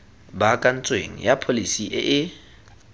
baakantsweng ya pholesi e e